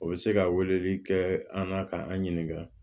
O bɛ se ka weleli kɛ an na ka an ɲininka